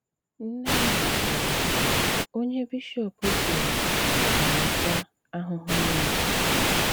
Nnè àhụ sị̀rì: "Ónyé bishọp kwùrù bàràtà àhụhụ Nwosù.